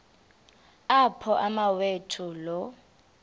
apho umawethu lo